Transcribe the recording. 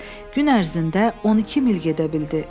Gün ərzində 12 mil gedə bildi.